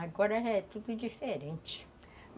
Agora é tudo diferente.